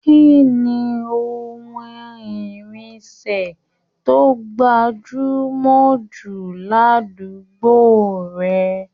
Kínní ohùn irinṣẹ to gbajumọ jù l'abule rẹ?